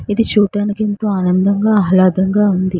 ఇది చూడడానికి ఎంతో ఆనందంగా ఆహ్లాదంగా ఉంది.